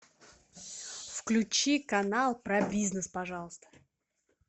включи канал про бизнес пожалуйста